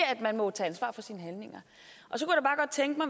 at man må tage ansvar for sine handlinger